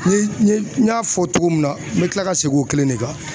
N ye n ye n y'a fɔ togo min na n be kila ka segin o kelen de kan